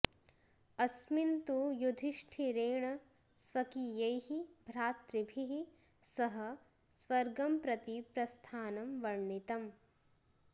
अस्मिन् तु युधिष्ठिरेण स्वकीयैः भ्रातृभिः सह स्वर्गं प्रति प्रस्थानं वर्णितम्